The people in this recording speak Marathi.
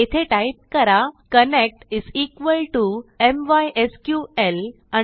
येथे टाईप करा connect m y s q L mysql connect